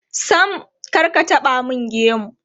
Sam, kar ka taɓa mun gemu.